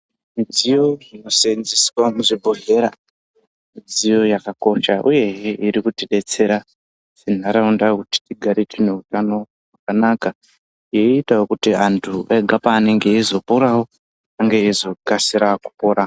Midziyo inosenzeswa muzvibhedhlera midziyo yakakosha uyehe irikutibetsera munharaunda kuti tigare tiine hutano hwakanaka yoitawo kuti antu pega peanenge eizoporawo hunge eizokasira kupora .